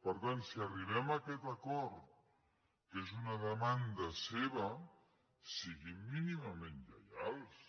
per tant si arribem a aquest acord que és una demanda seva siguin mínimament lleials